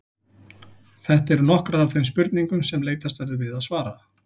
Þetta eru nokkrar af þeim spurningum sem leitast verður við að svara.